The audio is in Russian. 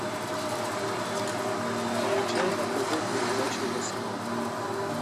включай на тв передачу восьмой